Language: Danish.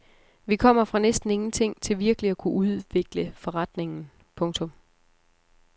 Vi kommer fra næsten ingenting til virkelig at kunne udvikle forretningen. punktum